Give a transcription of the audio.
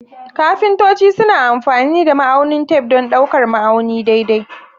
Kafintoci suna amfani da ma'aunin tef don ɗaukar ma'auni daidai.